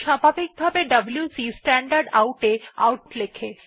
স্বাভাভিকভাবে WC standard out এ output লেখে